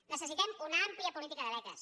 necessitem una àmplia política de beques